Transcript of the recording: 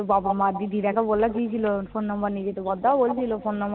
বাবা, মা, দিদিরা তো বলেছিল phone number নিয়ে যেতে। বড়দাও বলছিল phone number